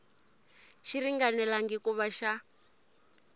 xi ringanelangi ku va xa